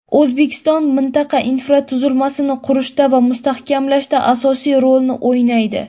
O‘zbekiston mintaqa infratuzilmasini qurishda va mustahkamlashda asosiy rolni o‘ynaydi.